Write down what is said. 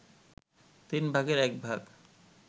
তিন ভাগের এক ভাগ